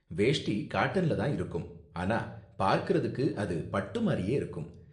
வேஷ்டி காட்டன்ல தான் இருக்கும், ஆனா பார்க்கறதுக்கு அது பட்டு மாதிரியே இருக்கும்.